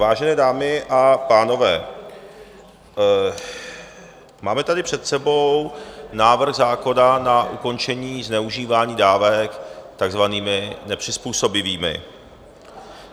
Vážené dámy a pánové, máme tady před sebou návrh zákona na ukončení zneužívání dávek takzvanými nepřizpůsobivými.